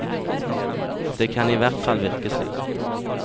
Det kan i hvert fall virke slik.